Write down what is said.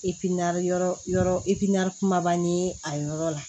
yɔrɔ yɔrɔ kumaba ni a yɔrɔ la